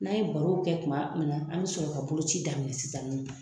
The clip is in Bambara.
N'a ye baro kɛ tuma min na an bɛ sɔrɔ ka boloci daminɛ sisan ni nɔ